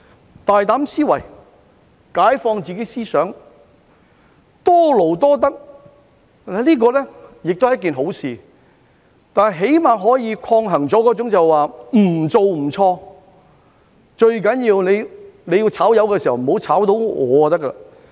有大膽思維、解放自己思想、多勞多得，這是一件好事，起碼可以抗衡那種"不做不錯"、"最重要遭解僱的不是我"的心態。